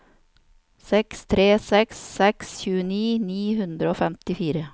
seks tre seks seks tjueni ni hundre og femtifire